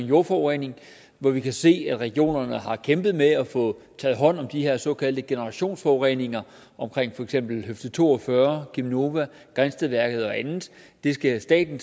jordforurening hvor vi kan se at regionerne har kæmpet med at få taget hånd om de her såkaldte generationsforureninger for eksempel høfde to og fyrre cheminova grindstedværket og andet det skal staten